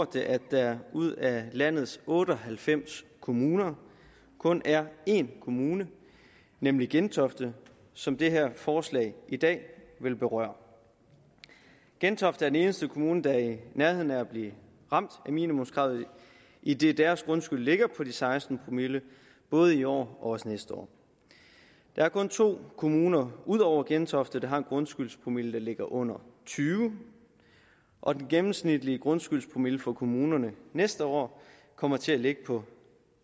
det at der ud af landets otte og halvfems kommuner kun er én kommune nemlig gentofte som det her forslag i dag vil berøre gentofte er den eneste kommune der er i nærheden af at blive ramt af minimumskravet idet deres grundskyld ligger på de seksten promille både i år og næste år der er kun to kommuner ud over gentofte der har en grundskyldspromille der ligger under tyve og den gennemsnitlige grundskyldspromille for kommunerne næste år kommer til at ligge på